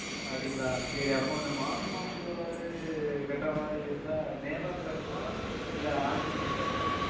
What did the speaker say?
அப்படிங்களா சரி அப்போ இந்த மாசம் மாசம் சொன்னது கட்ட மாரி இருந்தா நேர்ல வந்து கட்டனுமா இல்ல Online ல இருந்து கட்டனுமா